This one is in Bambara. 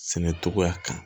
Sɛnɛ togoya kan